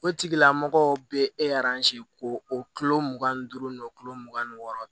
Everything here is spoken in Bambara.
O tigilamɔgɔw bɛ e k'o kilo mugan ni duuru kilo mugan ni wɔɔrɔ